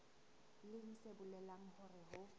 leng se bolelang hore ho